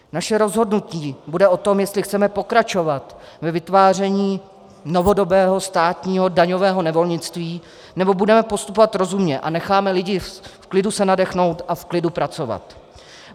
Naše rozhodnutí bude o tom, jestli chceme pokračovat ve vytváření novodobého státního daňového nevolnictví, nebo budeme postupovat rozumně a necháme lidi v klidu se nadechnout a v klidu pracovat.